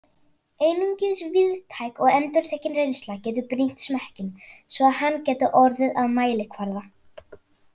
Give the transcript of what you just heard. Einungis víðtæk og endurtekin reynsla getur brýnt smekkinn, svo að hann geti orðið að mælikvarða.